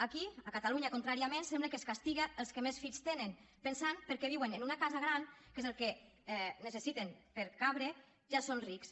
aquí a catalunya contràriament sembla que es castiguen els que més fills tenen pensant que perquè viuen en una casa gran que és el que necessiten per cabre ja són rics